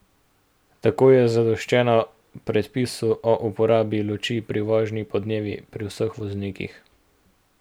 Tako je zadoščeno predpisu o uporabi luči pri vožnji podnevi pri vseh voznikih.